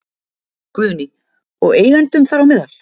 Guðný: Og eigendum þar á meðal?